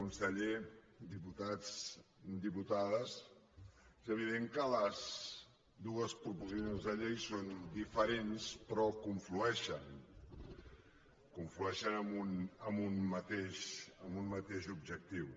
conseller diputats diputades és evident que les dues proposicions de llei són diferents però conflueixen conflueixen en un mateix objectiu